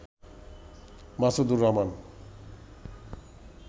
Masudur Rahman